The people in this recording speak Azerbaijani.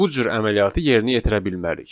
Bu cür əməliyyatı yerinə yetirə bilmərik.